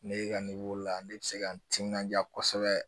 Ne ka la ne bɛ se ka n timinandiya kosɛbɛ